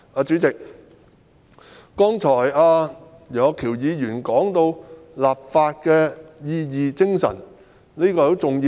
主席，楊岳橋議員剛才提到立法原意和精神，這也是相當重要的。